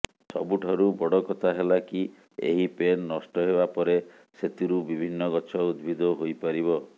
ସବୁଠାରୁ ବଡ଼ କଥା ହେଲା କି ଏହି ପେନ୍ ନଷ୍ଟ ହେବାପରେ ସେଥିରୁ ବିଭିନ୍ନ ଗଛ ଉଦ୍ଭିଦ ହୋଇପାରିବ